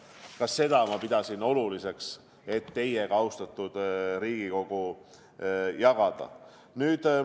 Ka seda ma pidasin oluliseks teiega, austatud Riigikogu, jagada.